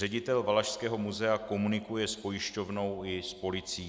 Ředitel Valašského muzea komunikuje s pojišťovnou i s policií.